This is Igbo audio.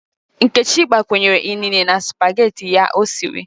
Nkechi gbakwunyere inine na spaghetị ya o siri.